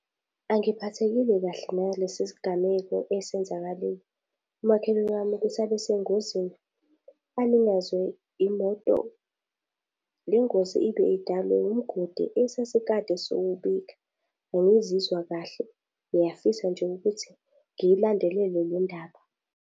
Angiphathekile kahle nalesi sigameko esenzakalile. Umakhelwane wami ukuthi abe sengozini, alinyazwe imoto. Le ngozi ibe idalwe umgodi esesikade siwubika. Angizizwa kahle, ngiyafisa nje ukuthi ngiyilandelele le ndaba.